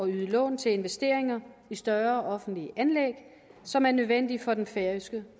yde lån til investeringer i større offentlige anlæg som er nødvendige for den færøske